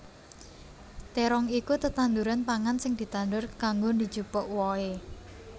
Térong iku tetanduran pangan sing ditandur kanggo dijupuk wohé